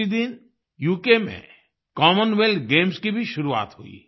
उसी दिन उक में कॉमनवेल्थ गेम्स की भी शुरुआत हुई